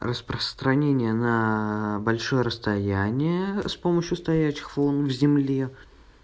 распространение на большое расстояние с помощью стоячих волн в земле